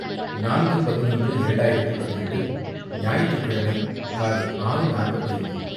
நான்கு பதினொன்று இரண்டாயிரத்து பதினெட்டு ஞாயிற்றுக்கிழமை காலை ஆறு மணி நாற்பத்து ஐந்து